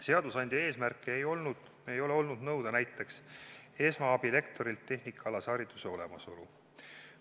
Seadusandja eesmärk ei ole olnud nõuda näiteks esmaabilektorilt tehnikaalase hariduse olemasolu.